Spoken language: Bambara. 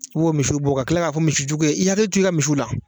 U b'o misiw bɔ ka tila k'a fɔ misijugu ye i hakili to i ka misiw la